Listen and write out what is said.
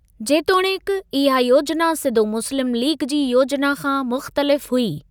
जेतोणीकि, इहा योजिना सिधो मुस्लिम लीग जी योजिना खां मुख़्तलिफ हुई।